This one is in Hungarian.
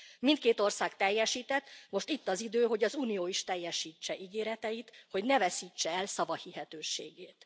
Mindkét ország teljesített, most itt az idő, hogy az Unió is teljesítse ígéreteit, hogy ne veszítse el szavahihetőségét.